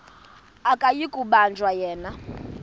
akuyi kubanjwa yena